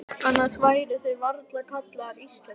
Annars væru þeir varla kallaðir Íslendingar.